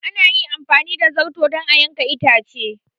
An yi amfani da zarto don a yanke itace.